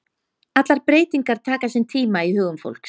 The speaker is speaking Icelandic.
Allar breytingar taka sinn tíma í hugum fólks.